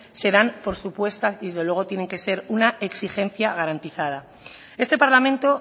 se dan por supuestas y desde luego tienen que ser una exigencia garantizada este parlamento